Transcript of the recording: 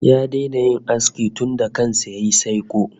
Ya daina yin aski tunda kan sa yayi saiko